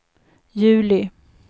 juli